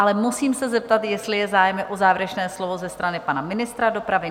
Ale musím se zeptat, jestli je zájem o závěrečné slovo ze strany pana ministra dopravy?